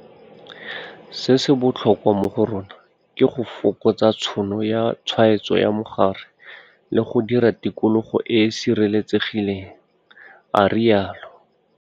Se se botlhokwa mo go rona ke go fokotsa tšhono ya tshwaetso ya mogare le go dira tikologo e e sireletsegileng, a rialo.